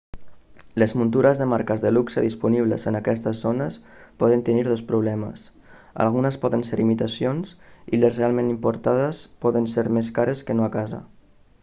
les muntures de marques de luxe disponibles en aquestes zones poden tenir dos problemes algunes poden ser imitacions i les realment importades poden ser més cares que no a casa